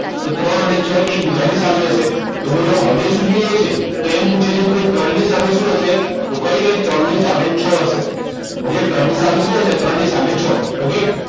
તો ત્રણ અને છ એ એકબીજાની સામે હશે તો બોલો હવે શું જોઈએ છે તો એમ પૂછે છે કે ભાઈ ત્રણની સામે શું હશે તો કંઈ નહીં ત્રણ ની સામે છ હશે okay ત્રણ ની સામે શું હશે ત્રણની સામે છ okay